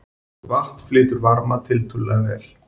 Vatn flytur varma tiltölulega vel.